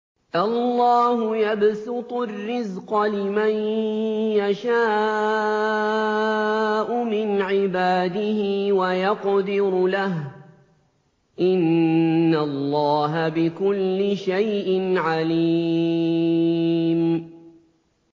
اللَّهُ يَبْسُطُ الرِّزْقَ لِمَن يَشَاءُ مِنْ عِبَادِهِ وَيَقْدِرُ لَهُ ۚ إِنَّ اللَّهَ بِكُلِّ شَيْءٍ عَلِيمٌ